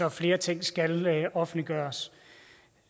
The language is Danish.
at flere ting skal offentliggøres